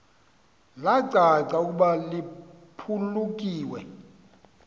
lacaca ukuba liphulukiwe